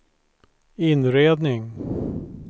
inredning